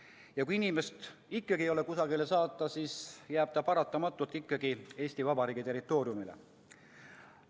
Ja kui inimest ikkagi ei ole kusagile saata, siis jääb ta paratamatult Eesti Vabariigi territooriumile.